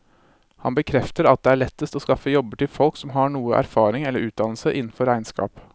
Han bekrefter at det er lettest å skaffe jobber til folk som har noe erfaring eller utdannelse innenfor regnskap.